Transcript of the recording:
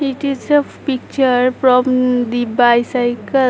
It is a picture prom the bicycle.